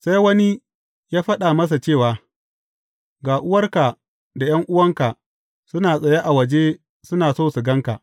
Sai wani ya faɗa masa cewa, Ga uwarka da ’yan’uwanka suna tsaye a waje suna so su gan ka.